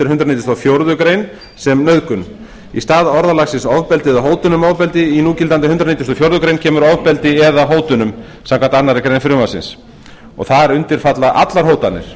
nítugasta og fjórðu grein sem nauðgun í stað orðalagsins ofbeldi eða hótun um ofbeldi í núgildandi hundrað nítugasta og fjórðu grein kemur ofbeldi eða hótunum samkvæmt annarri grein frumvarpsins og þar undir falla allar hótanir